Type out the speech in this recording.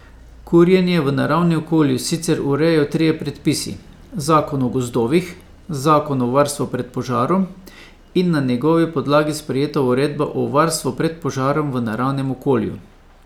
Kurjenje v naravnem okolju sicer urejajo trije predpisi, zakon o gozdovih, zakon o varstvu pred požarom in na njegovi podlagi sprejeta uredba o varstvu pred požarom v naravnem okolju.